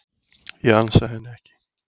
Ég ansa henni ekki.